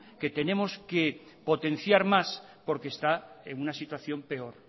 que tenemos que potenciar más porque está en una situación peor